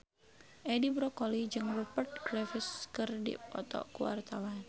Edi Brokoli jeung Rupert Graves keur dipoto ku wartawan